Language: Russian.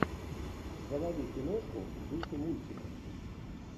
заводи киношку в духе мультика